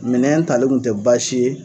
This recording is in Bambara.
Minɛn tali kun tɛ baasi ye,